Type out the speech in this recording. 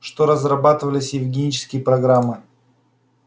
что разрабатывались евгенические программы